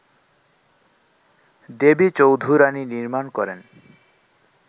দেবী চৌধুরাণী নির্মাণ করেন